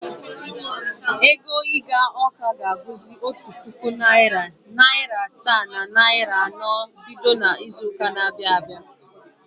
Ego ịga Ọka ga-abụzị otu puku naịra, naịra asaa na iri naịra anọ bido n’izu ụka na-abịa abịa.